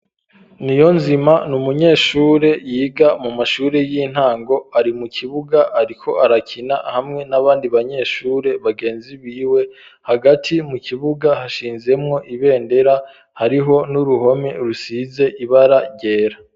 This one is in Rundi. Niyonzima n’umunyeshure yiga mu mashuri y'intango. Ari mu kibuga ariko arakina hamwe n'abandi banyeshure bagenzi biwe. Hagati mu kibuga, hashinzemwo ibendera, hariho n'uruhome rusize ibara ryera.